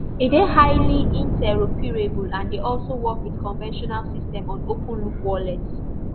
e dey highly interoperable and e dey work wit conventional systems on open loop wallet